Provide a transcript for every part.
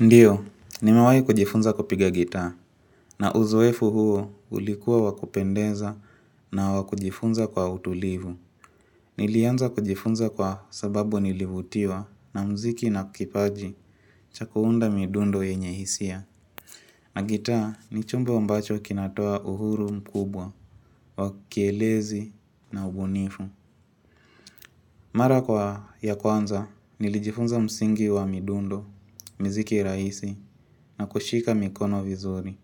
Ndiyo, nimewai kujifunza kupiga gitaa, na uzoefu huo ulikuwa wa kupendeza na wakujifunza kwa utulivu. Nilianza kujifunza kwa sababu nilivutiwa na muziki na kipaji cha kuunda midundo yenye hisia. Na gitaa ni chumbo ambacho kinatoa uhuru mkubwa, wa kielezi na ubunifu. Mara kwa ya kwanza, nilijifunza msingi wa midundo, muziki rahisi, na kushika mikono vizuri.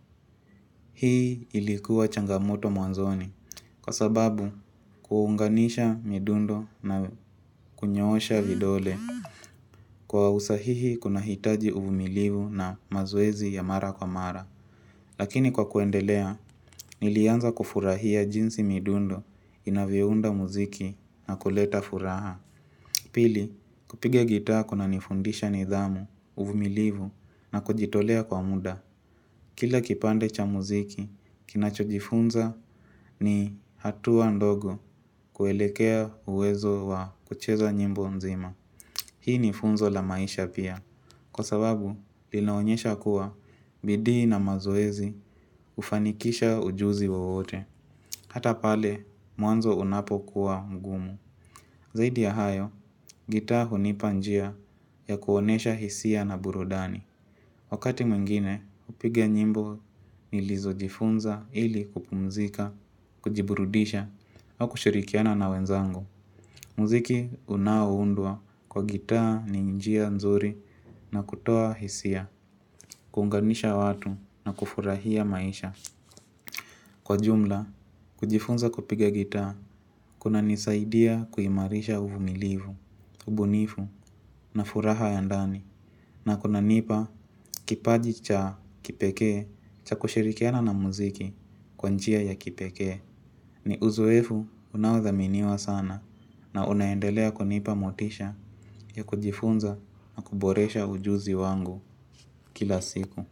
Hii ilikuwa changamoto mwanzoni kwa sababu kuunganisha midundo na kunyoosha vidole. Kwa usahihi kuna hitaji uvumilivu na mazoezi ya mara kwa mara. Lakini kwa kuendelea, nilianza kufurahia jinsi midundo inavyounda muziki na kuleta furaha. Pili, kupiga gitaa kuna nifundisha nidhamu, uvumilivu na kujitolea kwa muda. Kila kipande cha muziki, kinacho jifunza ni hatua ndogo kuelekea uwezo wa kucheza nyimbo nzima. Hii ni funzo la maisha pia. Kwa sababu, linaonyesha kuwa bidii na mazoezi hufanikisha ujuzi wowote. Hata pale, mwanzo unapo kuwa ngumu. Zaidi ya hayo, gitaa hunipa njia ya kuonyesha hisia na burudani. Wakati mwingine hupiga nyimbo nilizojifunza ili kupumzika kujiburudisha au kushirikiana na wenzangu. Muziki unaoundwa kwa gitaa ni njia nzuri na kutoa hisia, kuunganisha watu na kufurahia maisha. Kwa jumla, kujifunza kupiga gitaa, kuna nisaidia kuimarisha uvumilivu, ubunifu na furaha ya ndani. Na kuna nipa kipaji cha kipekee cha kushirikiana na muziki kwa njia ya kipekee. Ni uzoefu unaothaminiwa sana na unaendelea kunipa motisha ya kujifunza na kuboresha ujuzi wangu kila siku.